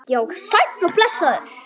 Já, sæll.